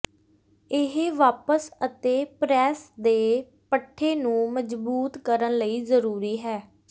ਇਹ ਵਾਪਸ ਅਤੇ ਪ੍ਰੈਸ ਦੇ ਪੱਠੇ ਨੂੰ ਮਜ਼ਬੂਤ ਕਰਨ ਲਈ ਜ਼ਰੂਰੀ ਹੈ